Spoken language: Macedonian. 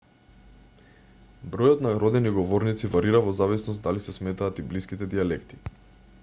бројот на родени говорници варира во зависност дали се сметаат и блиските дијалекти